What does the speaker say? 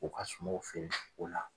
U ka suma o feereli ko la.